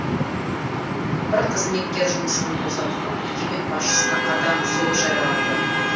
бір қызметкер жұмысын босатылып мекеме басшысына қатаң сөгіс жарияланды